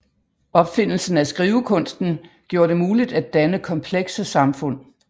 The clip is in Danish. Opfindelsen af skrivekunsten gjorde det muligt at danne komplekse samfund